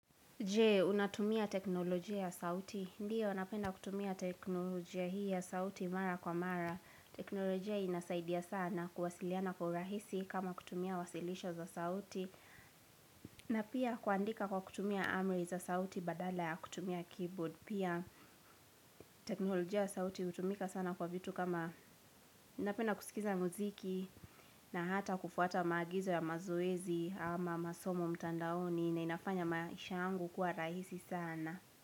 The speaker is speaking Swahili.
Je, unatumia teknolojia ya sauti. Ndiyo, napenda kutumia teknolojia hii ya sauti mara kwa mara. Teknolojia inasaidia sana kuwasiliana kwa urahisi kama kutumia wasilisha za sauti. Na pia kuandika kwa kutumia amri za sauti badala ya kutumia keyboard. Pia teknolojia ya sauti hutumika sana kwa vitu kama ninapenda kusikiza muziki na hata kufuata maagizo ya mazoezi ama masomo mtandaoni na inafanya maisha yangu kuwa rahisi sana.